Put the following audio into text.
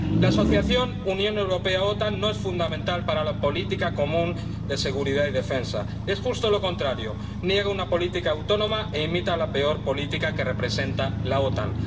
La Asociación Unión Europea OTAN no es fundamental para la política común de seguridad y defensa, es justo lo contrario niega una política autónoma e imita la peor política que representa la OTAN.